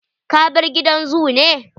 Ka bar gidan zoo ne?